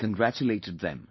I congratulated them